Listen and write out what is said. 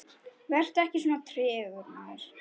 Vertu ekki svona tregur, maður!